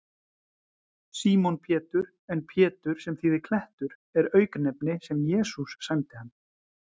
Símon Pétur, en Pétur, sem þýðir klettur, er auknefni sem Jesús sæmdi hann.